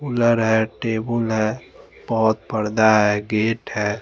cooler हैं table हैं पौद पर्दा हैं गेट हैं--